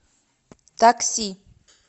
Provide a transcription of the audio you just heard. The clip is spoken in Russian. такси